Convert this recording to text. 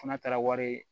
Fana taara wari ye